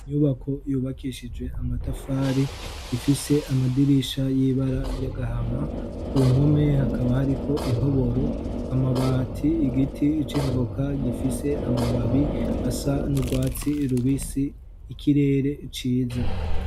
Inyubako yubakishije amatafari, ifise amadirisha y'ibara y'agahama, ku mpome hakaba hariko intoboro, amabati igiti c'ivoka gifise amababi asa n'urwatsi rubisi, ikirere ciza.